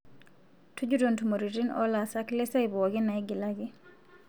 tujuto ntumoriti olaasak lesiai pooki naigilaki